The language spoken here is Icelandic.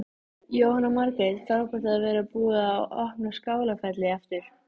Jóhanna Margrét: Frábært að vera búið að opna Skálafelli aftur?